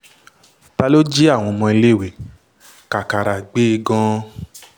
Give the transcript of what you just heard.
ta ló jí àwọn ọmọléèwé kàkàrà gbé gan-an